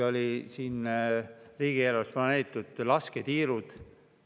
Riigieelarves olid planeeritud ka lasketiirud.